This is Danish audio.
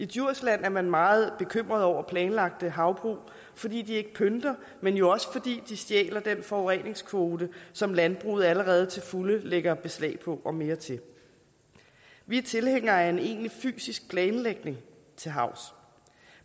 djursland er man meget bekymret over planlagte havbrug fordi de ikke pynter men jo også fordi de stjæler den forureningskvote som landbruget allerede til fulde lægger beslag på og mere til vi er tilhængere af en egentlig fysisk planlægning til havs